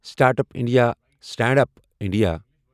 startup India, stand up India